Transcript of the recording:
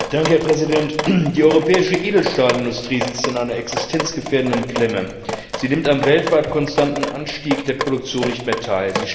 Herr Präsident! Die europäische Edelstahlindustrie sitzt in einer existenzgefährdenden Klemme Sie nimmt am weltweit konstanten Anstieg der Produktion nicht mehr teil.